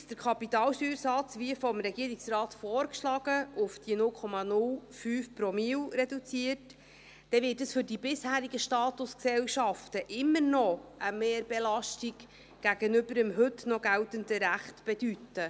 Wird der Kapitalsteuersatz, wie vom Regierungsrat vorgeschlagen, auf die 0,05 Promille reduziert, wird es für die bisherigen Statusgesellschaften immer noch eine Mehrbelastung gegenüber dem heute noch geltenden Recht bedeuten.